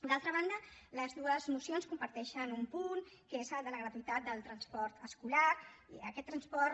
d’altra banda les dues mocions comparteixen un punt que és el de la gratuïtat del transport escolar i aquest transport